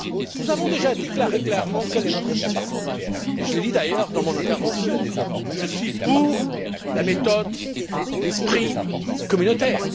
Nous avons déjà clairement défini notre vision, et je l'ai dit, d'ailleurs, dans mon intervention je suis pour la méthode, l'esprit communautaire.